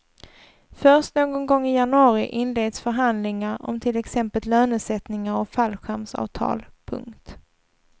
Först någon gång i januari inleds förhandlingar om till exempel lönesättningar och fallskärmsavtal. punkt